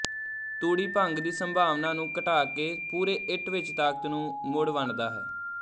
ਤੂੜੀ ਭੰਗ ਦੀ ਸੰਭਾਵਨਾ ਨੂੰ ਘਟਾ ਕੇ ਪੂਰੇ ਇੱਟ ਵਿੱਚ ਤਾਕਤ ਨੂੰ ਮੁੜ ਵੰਡਦਾ ਹੈ